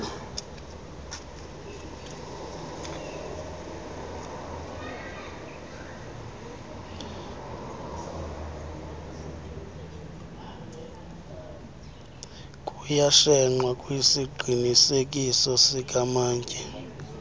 kuyashenxwa kwisiqinisekiso sikamantyi